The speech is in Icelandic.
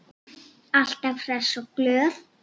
Alltaf hress og glöð.